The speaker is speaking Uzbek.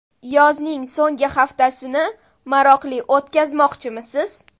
Yozning so‘nggi haftasini maroqli o‘tkazmoqchimisiz?